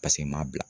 Paseke n m'a bila